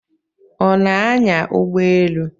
Ọ na-anya ụgbọelu?